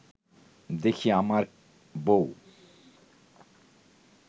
দেখি আমার বউ